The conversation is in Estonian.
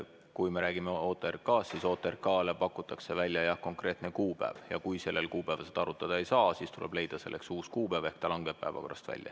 Kui me räägime OTRK-st, siis OTRK-le pakutakse välja jah konkreetne kuupäev ja kui sellel kuupäeval arutada ei saa, siis tuleb leida selleks uus kuupäev, ehk ta langeb päevakorrast välja.